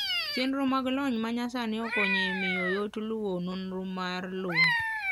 Chenro mag lony manyasani okonyo e miyo yot luwo nonro mar lowo.